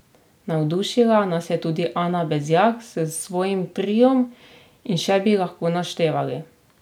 Navdušila nas je tudi Ana Bezjak s svojim triom in še bi lahko naštevali.